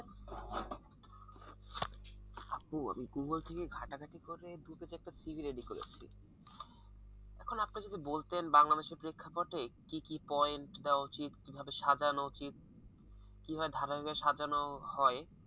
আপু আমি google থেকে ঘাটাঘাটি করে দুটো চারটে CV ready করেছি এখন আপনি যদি বলতেন বাংলাদেশের পেক্ষাপটে কি কি পয়েন্ট দেওয়া উচিত কিভাবে সাজানো উচিত কিভাবে ধারাবাহিক ভাবে সাজানো হয়,